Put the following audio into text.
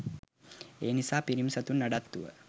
එනිසා පිරිමි සතුන් නඩත්තුව